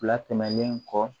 Fila tɛmɛnen kɔ